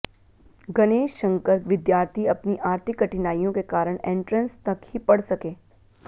गणेश शंकर विद्यार्थी अपनी आर्थिक कठिनाइयों के कारण एंट्रेंस तक ही पढ़ सके